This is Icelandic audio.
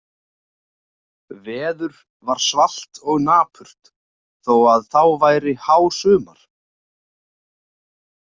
Veður var svalt og napurt þó að þá væri hásumar.